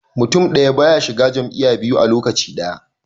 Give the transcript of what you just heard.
Mutun daya baya shiga jam'iya biyu a lokaci daya